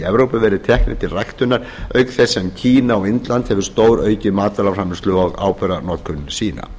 evrópu verið teknir til ræktunar auk þess sem kína og indland hafa stóraukið matvælaframleiðslu og áburðarnotkun sína